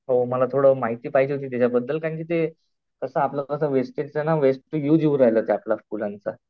हो मला थोडी माहिती पाहिजे होती त्याच्या बद्दल कारण कि ते